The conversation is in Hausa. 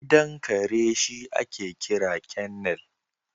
Gidan kare shi ake kira kennel